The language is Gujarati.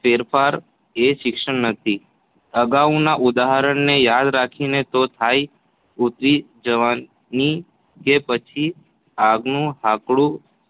ફેરફારો એ શિક્ષણ નથી જ. અગાઉના ઉદાહરણને યાદ રાખીને તો થાક ઊતરી જવાથી કે પછીપાગ નું હાકડું